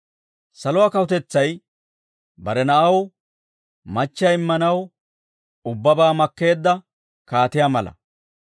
«Saluwaa kawutetsay bare na'aw machchiyaa immanaw ubbabaa makkeedda kaatiyaa mala.